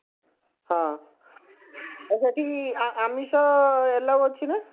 ହଁ ଆଉ ସେଠି ଆମିଷ allow ଅଛି ନା